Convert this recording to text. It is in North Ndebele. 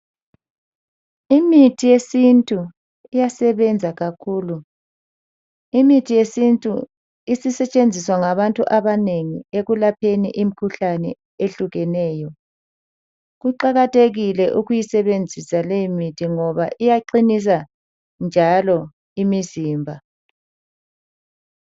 Imithi yesintu iyasebenza kakhulu. Imithi yesintu isisetshenziswa ngabantu abanengi ekulapheni imkhuhlane ehlukeneyo. Kuqakathekile ukuyisebenzisa leyi mithi ngoba iyaqinisa njalo imizimba.